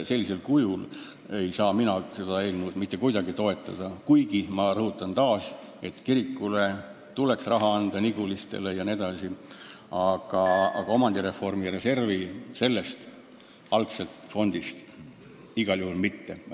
Sellisel kujul ei saa mina seda eelnõu mitte kuidagi toetada, kuigi, ma rõhutan taas, kirikutele tuleks raha anda, aga omandireformi reservfondist igal juhul mitte.